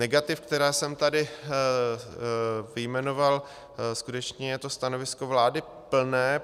Negativ, která jsem tady vyjmenoval, skutečně je to stanovisko vlády plné.